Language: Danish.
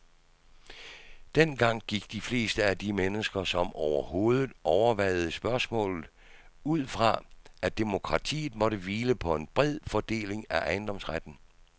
Dengang gik de fleste af de mennesker, som overhovedet overvejede spørgsmålet, ud fra, at demokratiet måtte hvile på en bred fordeling af ejendomsretten.